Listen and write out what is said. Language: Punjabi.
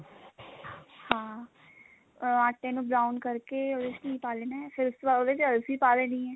ਹਾਂ ਅਹ ਆਟੇ ਨੂੰ brown ਕਰਕੇ ਉਹਦੇ ਚ ਘੀ ਪਾ ਦੇਣਾ ਫੇਰ ਉਸ ਤੋਂ ਬਾਅਦ ਉਹਦੇ ਚ ਅਲਸੀ ਪਾ ਦੇਣੀ ਐ